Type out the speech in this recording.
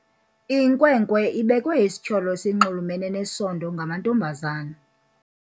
Inkwenkwe ibekwe isityholo esinxulumene nesondo ngamantombazana.